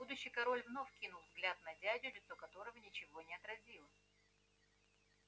будущий король вновь кинул взгляд на дядю лицо которого ничего не отразило